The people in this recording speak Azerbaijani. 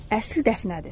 Əsl dəfnədir.